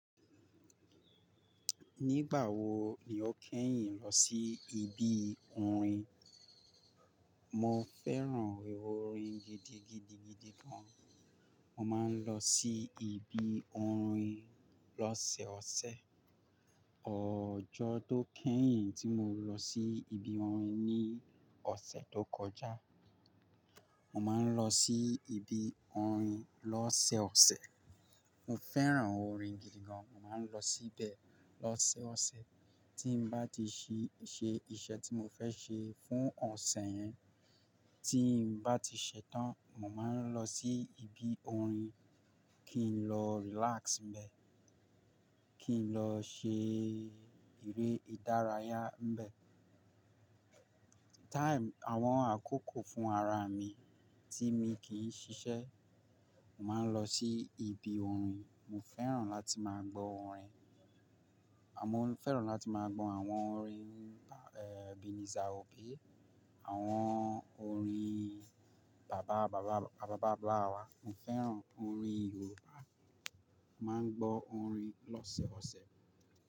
Nígbà wo ni o kẹ́yìn lọ sí ibi orin? Mo fẹ́ràn orin gidigidigidi gan. Mo máa ń lọ sí ibi orin lọ́sẹ̀ ọ̀sẹ̀. Ọjọ́ tó kẹ́yìn tí mo lọ sí ibi orin ni ọ̀sẹ̀ tó kọjá. Mo máa ń lọ sí ibi orin lọ́sẹ̀ ọ̀sẹ̀. Mo fẹ́ràn orin gidi gan. Mo máa ń lọ síbẹ̀ lọ́sẹ̀ ọ̀sẹ̀. Tí m bá ti ṣí-- ṣe iṣẹ́ tí mo fẹ́ ṣe fún ọ̀sẹ̀ yẹn, tí n bá ti ṣẹ tán, mo máa ń lọ sí ibi orin kí n lọ relax bẹ́ẹ̀, kí n lọ ṣe eré ìdárayá bẹ́ẹ̀. Time àwọn àkókò fún ara mi tí mi kì í ṣiṣẹ́, màá lọ sí ibi orin. Mo fẹ́ràn láti máa gbọ́ orin. Aà mo fẹ́ràn láti máa gbọ́ àwọn orin, eh, Ebenezer Obey, àwọn orin bàbá, bàbá, àbábà blawa. Mo fẹ́ràn orin Yorùbá. Màá ń gbọ́ orin lọ́sẹ̀ ọ̀sẹ̀.